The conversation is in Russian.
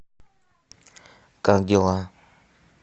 как дела